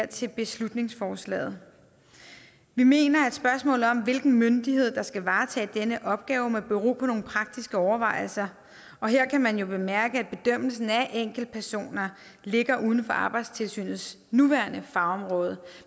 til beslutningsforslaget vi mener at spørgsmålet om hvilken myndighed der skal varetage denne opgave må bero på nogle praktiske overvejelser og her kan man jo bemærke at bedømmelsen af enkeltpersoner ligger uden for arbejdstilsynets nuværende fagområde